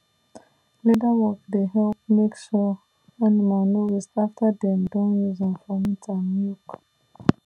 leather work dey help make sure animal no waste after dem don use am for meat and milk